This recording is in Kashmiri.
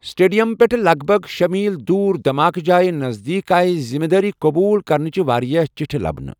سٹیڈیم پٮ۪ٹھٕہ لَگ بَگ شے٘ میٖل دوُر دھماکہٕ جایہِ نزدیٖک آیہ ذمہٕ دٲری قبوُل کرنٕچہِ واریٛاہ چٹھہِ لبنہٕ ۔